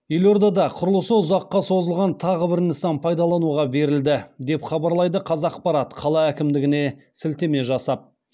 елордада құрылысы ұзаққа созылған тағы бір нысан пайдалануға берілді деп хабарлайды қазақпарат қала әкімдігіне сілтеме жасап